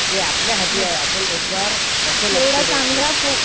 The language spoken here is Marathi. ते आपल्यावर आहे आपण त्यांच्यावर कसं लक्ष देतो.